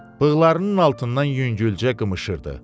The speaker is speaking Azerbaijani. Bığlarının altından yüngülcə qımışırdı.